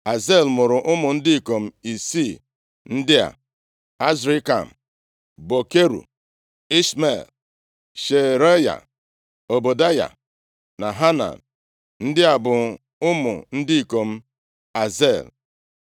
Azel mụrụ ụmụ ndị ikom isii ndị a: Azrikam, Bokeru, Ishmel, Shearaya, Ọbadaya na Hanan. Ndị a bụ ụmụ ndị ikom Azel.